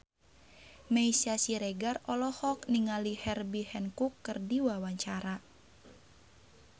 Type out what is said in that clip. Meisya Siregar olohok ningali Herbie Hancock keur diwawancara